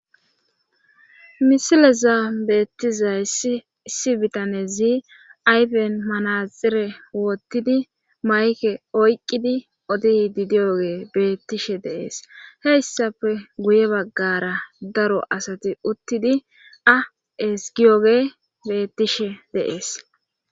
misileza beettizay issi bitanezi ayfen manaxire woottidi mayke oyqqidi odi di diyoge bettishe deees heyssafe guye baggara daro asati uttidi a esgiyoge bettishe deees